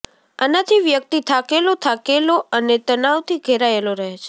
આનાથી વ્યક્તિ થાકેલો થાકેલો અને તનાવથી ઘેરાયેલો રહે છે